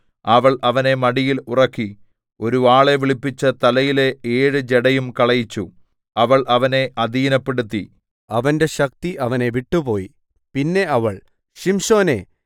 അവൾ അവനെ മടിയിൽ ഉറക്കി ഒരു ആളെ വിളിപ്പിച്ച് തലയിലെ ഏഴ് ജടയും കളയിച്ചു അവൾ അവനെ അധീനപ്പെടുത്തി അവന്റെ ശക്തി അവനെ വിട്ടുപോയി പിന്നെ അവൾ ശിംശോനേ